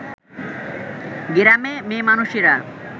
গেরামে মেয়ে মানুষেরা